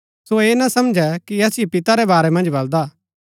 सो ऐह ना समझै कि असिओ पिता रै वारै मन्ज बलदा हा